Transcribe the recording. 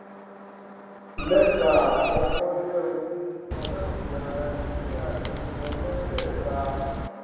mẹta àkọkọ je owó sísan láti ara ìṣe akitiyan mẹtẹẹta